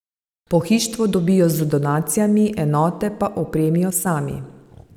Pohištvo dobijo z donacijami, enote pa opremijo sami.